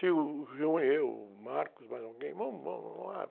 Se o e eu, o, mais alguém, vamos? Vamos, vamos lá.